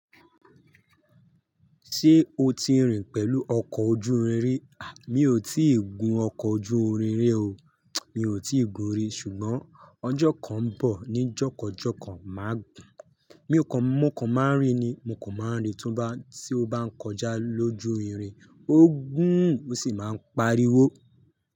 Ṣé o ti rìn pẹ̀lú ọkọ̀ ojú irin rí? À, mi ò tí ì gun ọkọ̀ ojú irin rí o. Mi ò tí ì gun rí, ṣùgbọ́n ọjọ́ kan ń bọ̀ ní jọkàn jọkàn máà gùn. Mi ò kàn mọ́kàn máà ń rìn ni, mo kò mọ́ ń rìn, túbọ̀ tí ó bá ń kọjá lójú irin, ó gún sì máa ń pariwo.